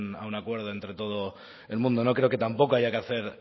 a un acuerdo entre todo el mundo no creo que tampoco haya que hacer